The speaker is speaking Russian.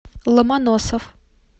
ломоносов